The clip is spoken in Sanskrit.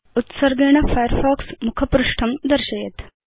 उत्सर्गेण फायरफॉक्स मुखपृष्ठं दर्शयेत्